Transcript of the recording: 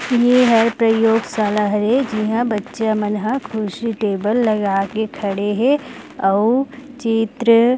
यह है प्रयोगशाला हरे जिहा बच्चा मन ह कुर्सी टेबल लगा के खड़े हे अउ चित्र--